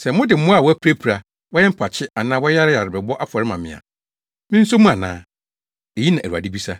“Sɛ mode mmoa a wɔapirapira, wɔyɛ mpakye anaa wɔyareyare bɛbɔ afɔre ma me a, minso mu ana?” Eyi na Awurade bisa.